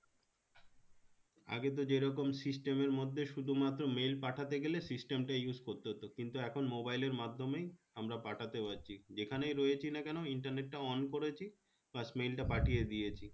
আগেতো যেরকম system এর মধ্যে শুধুমাত্র mail পাঠাতে গেলে system টা use করতে হতো কিন্তু এখন mobile এর মাধ্যমেই আমরা পাঠাতে পারছি যেখানেই রয়েছিনা কেন internet টা on করেছি বাস mail টা পাঠিয়ে দিয়েছি